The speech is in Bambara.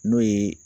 N'o ye